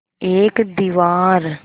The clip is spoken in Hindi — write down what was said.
एक दीवार